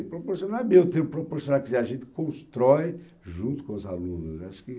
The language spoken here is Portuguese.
proporcional, deu tempo proporcional. Quer dizer, a gente constrói junto com os alunos, né. Acho que,